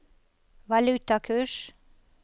valutakurs